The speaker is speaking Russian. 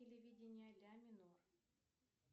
телевидение ля минор